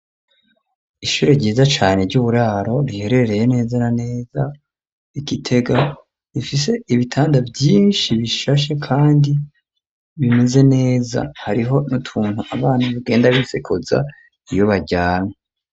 Ishure ryiza cane ry'uburaro rihereereye neza na neza igitega rifise ibitanda vyinshi bishashe, kandi bimeze neza hariho niutuntu abana bugenda bifekoza iyubaryamwe.